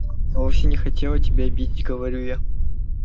я вовсе не хотела тебя обидеть говорю я